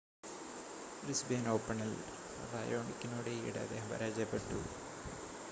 Brisbane ഓപ്പണിൽ റയോണിക്കിനോട് ഈയിടെ അദ്ദേഹം പരാജയപ്പെട്ടു